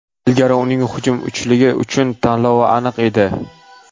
Ilgari uning hujum uchligi uchun tanlovi aniq edi.